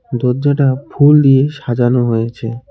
দরজাটা ফুল দিয়ে সাজানো হয়েছে।